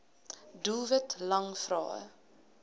doelwit lang vrae